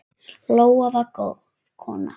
Lóa var góð kona.